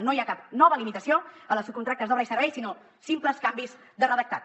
no hi ha cap nova limitació a les subcontractes d’obra i servei sinó simples canvis de redactat